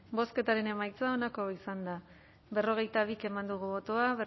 bozketaren emaitza onako izan da berrogeita bi eman dugu bozka